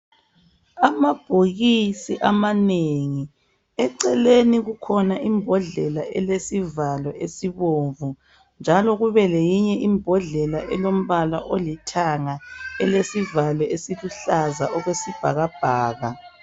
Amabhokisi amanengi eceleni kukhona imbodlela olesivalo esibomvu njalo kube leyinye imbodlela elombala olithanga elesivalo esiluhlaza okwesibhakabhaka.